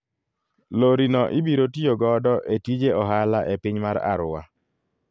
Lori no ibiro tiyo godo e tije ohala e piny mar Arua.